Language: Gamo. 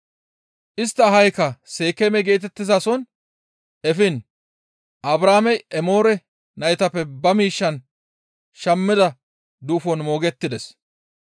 Istta ahaykka Seekeeme geetettizaso efiin Abrahaamey Emoore naytappe ba miishshan shammida duufon moogettides.